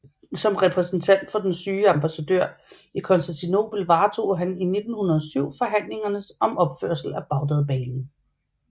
Som repræsentant for den syge ambassadør i Konstantinopel varetog han i 1907 forhandlingerne om opførelse af Bagdadbanen